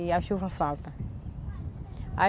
E a chuva falta.